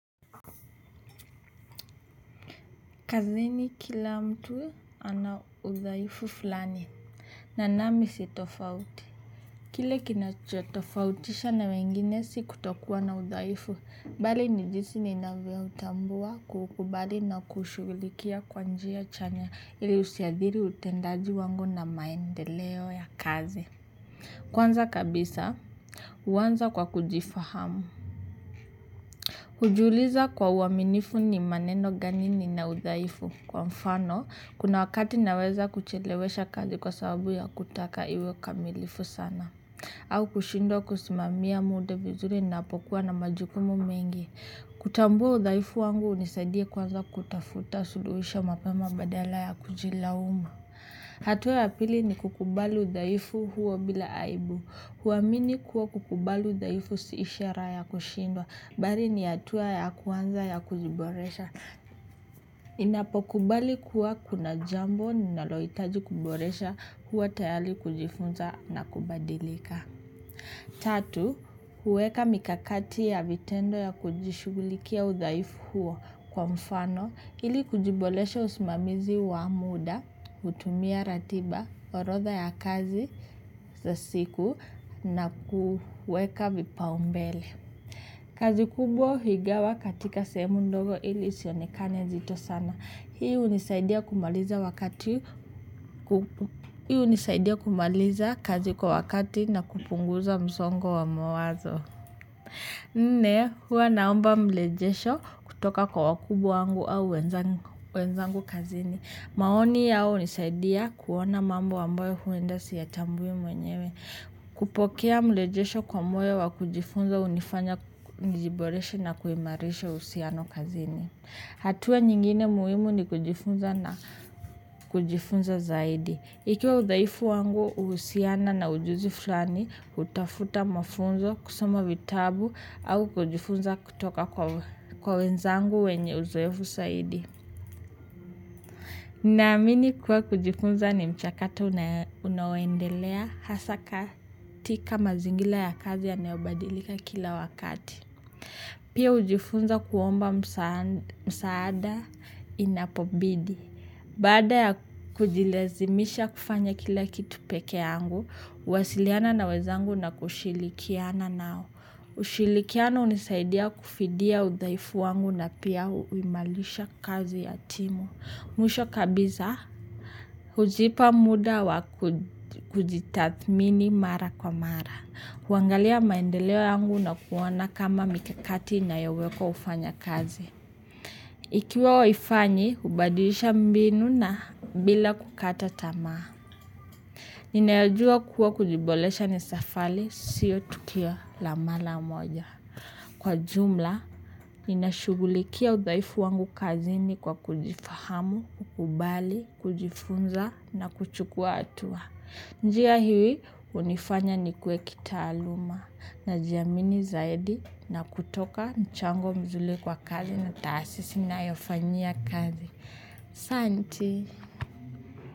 Kazini kila mtu ana udhaifu fulani. Na nami si tofauti. Kile kinachotofautisha na wengine si kutokuwa na udhaifu. Bali ni jinsi ninavyoutambua kukubali na kushughulikia kwa njia chanya ili usiathiri utendaji wangu na maendeleo ya kazi. Kwanza kabisa huanza kwa kujifahamu. Hujiuliza kwa uaminifu ni maneno gani nina udhaifu. Kwa mfano, kuna wakati naweza kuchelewesha kazi kwa sababu ya kutaka iwe kamilifu sana. Au kushindwa kusimamia muda vizuri napokuwa na majukumu mengi. Kutambua udhaifu wangu unisadie kwanza kutafuta suluhisho mapema badala ya kujilaumu. Hatua ya pili ni kukubali udhaifu huo bila aibu. Kuamini kuwa kukubali udhaifu si ishara ya kushindwa, bali ni hatua ya kwanza ya kujiboresha. Ninapokubali kuwa kuna jambo, ninalohitaji kuboresha huwa tayari kujifunza na kubadilika. Tatu, huweka mikakati ya vitendo ya kujishugulikia udhaifu huo kwa mfano. Ili kujiboresha usimamizi wa muda, hutumia ratiba, orodha ya kazi za siku na kueka vipaumbele. Kazi kubwa huigawa katika sehemu ndogo ili isionekane zito sana. Hii hunisaidia kumaliza kazi kwa wakati na kupunguza msongo wa mawazo. Ne huwa naomba mrejesho kutoka kwa wakumbwa wangu au wenzangu kazini. Maoni yao hunisaidia kuona mambo ambayo huenda siyatambui mwenyewe. Kupokea mrejesho kwa moyo wa kujifunza hunifanya nijiboreshe na kuimarisho uhusiano kazini. Hatua nyingine muhimu ni kujifunza zaidi. Ikiwa udhaifu wangu, uhusiana na ujuzi fulani kutafuta mafunzo kusoma vitabu au kujifunza kutoka kwa wenzangu wenye uzoefu zaidi. Naamini kuwa kujifunza ni mchakato unaoendelea hasa katika mazingira ya kazi yanayobadilika kila wakati. Pia ujifunza kuomba msaada inapobidi. Bada ya kujilazimisha kufanya kila kitu peke yangu, huwasiliana na wenzangu na kushirikiana nao. Ushirikiano hunisaidia kufidia udhaifu wangu na pia uimarisha kazi ya timu. Mwisho kabisa, hujipa muda wa kujitathmini mara kwa mara. Kuangalia maendeleo yangu na kuona kama mikakati inayowekwa hufanya kazi. Ikiwa haifanyi, hubadilisha mbinu na bila kukata tamaa. Ninayojua kuwa kujiboresha ni safari, sio tukio la mara moja. Kwa jumla, inashughulikia udhaifu wangu kazini kwa kujifahamu, kukubali, kujifunza na kuchukua hatua. Njia hii hunifanya nikue kitaaluma najiamini zaidi na kutoka mchango mzuri kwa kazi na taasisi ninayofanyia kazi. Asanti.